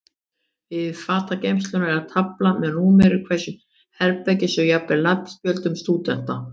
Við fatageymsluna er tafla með númeri hvers herbergis og jafnvel nafnspjöldum stúdenta.